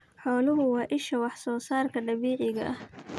Xooluhu waa isha waxsoosaarka dabiiciga ah.